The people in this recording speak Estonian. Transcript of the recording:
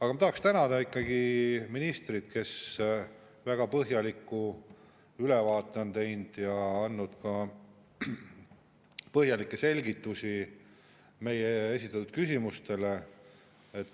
Aga ma tahaksin tänada ikkagi ministrit, kes väga põhjaliku ülevaate on teinud ja andnud põhjalikke selgitusi meie esitatud küsimustele.